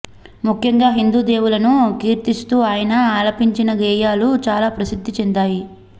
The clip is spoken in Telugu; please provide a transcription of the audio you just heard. ముఖ్యంగా హిందూ దేవులను కీర్తిస్తూ ఆయన ఆలపించిన గేయాలు చాలా ప్రసిద్ధి చెందాయి